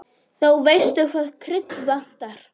Þá veistu hvaða krydd vantar!